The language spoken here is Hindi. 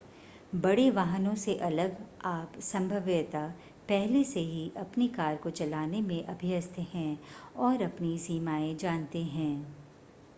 बड़े वाहनों से अलग आप संभवतया पहले से ही अपनी कार को चलाने में अभ्यस्त हैं और अपनी सीमाएं जानते हैं